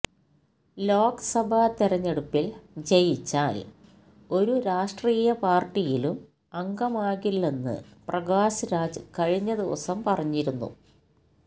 ലോക്സഭാ തെരഞ്ഞെടുപ്പില് ജയിച്ചാല് ഒരു രാഷ്ട്രീയ പാര്ട്ടിയിലും അംഗമാകില്ലെന്ന് പ്രകാശ് രാജ് കഴിഞ്ഞ ദിവസം പറഞ്ഞിരുന്നു